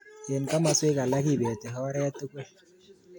Eng komaswek alak kibeti oret tugul